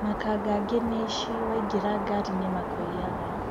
Makanga angĩ nĩ aici waingĩra ngari nĩ makũiyaga.